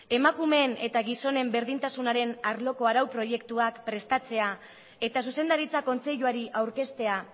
emakumeen eta gizonen berdintasunaren arloko arau proiektuak prestatzea eta zuzendaritza kontseiluari aurkeztea